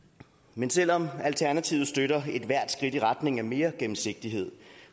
men selv om alternativet støtter ethvert skridt i retning af mere gennemsigtighed